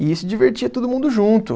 E se divertia todo mundo junto.